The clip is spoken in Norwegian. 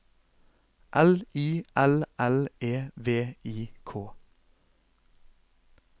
L I L L E V I K